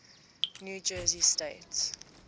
new jersey state